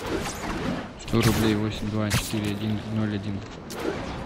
сто рублей восемь два четыре один ноль один